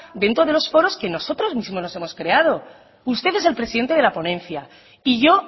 ven todos los foros que nosotros mismos hemos creado usted es el presidente de la ponencia y yo